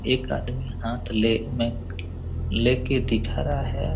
एक अद्मि हथ मै लेकर दिख रहे है!